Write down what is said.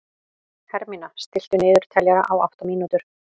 Hermína, stilltu niðurteljara á átta mínútur.